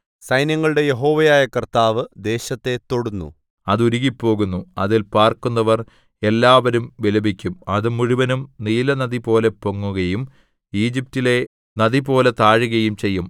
സൈന്യങ്ങളുടെ യഹോവയായ കർത്താവ് ദേശത്തെ തൊടുന്നു അത് ഉരുകിപ്പോകുന്നു അതിൽ പാർക്കുന്നവർ എല്ലാവരും വിലപിക്കും അത് മുഴുവനും നീലനദിപോലെ പൊങ്ങുകയും ഈജിപ്റ്റിലെ നദിപോലെ താഴുകയും ചെയ്യും